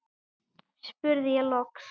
spurði ég loks.